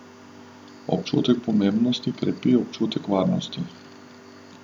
Občutek pomembnosti krepi občutek varnosti.